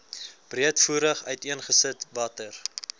breedvoerig uiteengesit watter